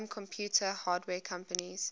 home computer hardware companies